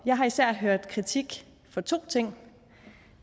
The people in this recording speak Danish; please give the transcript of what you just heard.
jeg har især hørt kritik af to ting